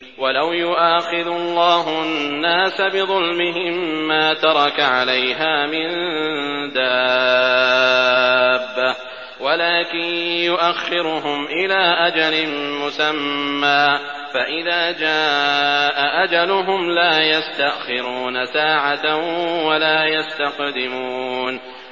وَلَوْ يُؤَاخِذُ اللَّهُ النَّاسَ بِظُلْمِهِم مَّا تَرَكَ عَلَيْهَا مِن دَابَّةٍ وَلَٰكِن يُؤَخِّرُهُمْ إِلَىٰ أَجَلٍ مُّسَمًّى ۖ فَإِذَا جَاءَ أَجَلُهُمْ لَا يَسْتَأْخِرُونَ سَاعَةً ۖ وَلَا يَسْتَقْدِمُونَ